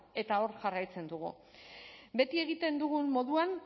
eta hor jarraitzen dugu beti egiten dugun moduan